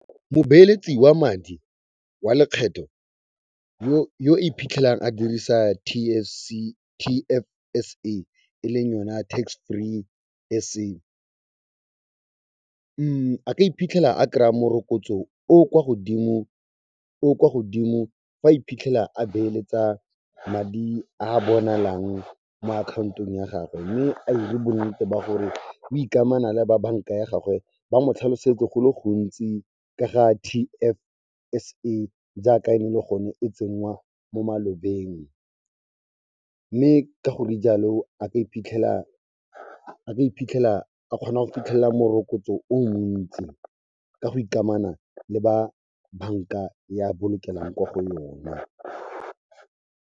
Mobeeletsi wa madi wa lekgetho yo iphitlhelang a dirisa T_S_C_T_F_S_A, e leng yona Tax Free S_A, a ka iphitlhela a kraa morokotso o o kwa godimo fa iphitlhela a beeletsa madi a bonalang mo akhaontong ya gagwe, mme a 'ire bonnete ba gore o ikamana le ba banka ya gagwe ba mo tlhalosetse go le gontsi ka ga T_F_S_A jaaka ene e le gone e tsenngwa mo malobeng. Mme ka gore jaalo, a ka iphitlhela a kgona go fitlhelela morokotso o montsi ka go ikamana le ba banka ya bolokelang kwa go yona.